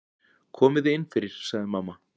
Komiði innfyrir, sagði mamma.